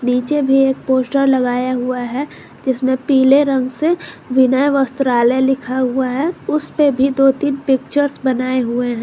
नीचे भी एक पोस्टर हुआ है जिसमें पीले रंग से विनय वस्त्रालय लिखा हुआ है उसपे भी दो तीन पिक्चर्स बनाए हुए है।